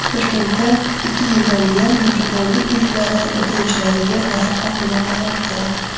Toshkentda ikki yildan buyon Mehribonlik uylari bitiruvchilariga nafaqa to‘lanmayapti.